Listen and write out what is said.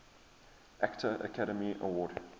actor academy award